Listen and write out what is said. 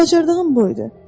Bacardığım bu idi: